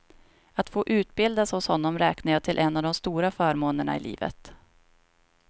Att få utbildas hos honom räknar jag till en av de stora förmånerna i livet.